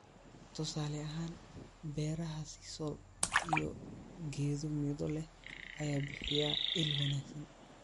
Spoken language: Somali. Tusaale ahaan, beeraha sisal iyo geedo midho leh ayaa bixiya il wanaagsan